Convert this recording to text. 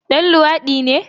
Ɗan luwadi ne?